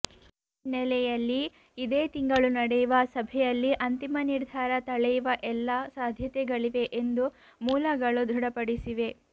ಈ ಹಿನ್ನೆಲೆಯಲ್ಲಿ ಇದೇ ತಿಂಗಳು ನಡೆಯುವ ಸಭೆಯಲ್ಲಿ ಅಂತಿಮ ನಿರ್ಧಾರ ತಳೆಯುವ ಎಲ್ಲಾ ಸಾಧ್ಯತೆಗಳಿವೆ ಎಂದು ಮೂಲಗಳು ದೃಢಪಡಿಸಿವೆ